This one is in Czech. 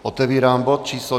Otevírám bod číslo